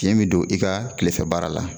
Piyen mi don i ka tilefɛ baara la